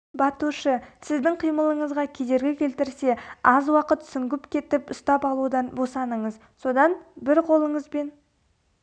батушы сіздің қимылыңызға кедергі келтірсе аз уақыт сүңгіп кетіп ұстап алудан босаныңыз содан бір қолыңызбен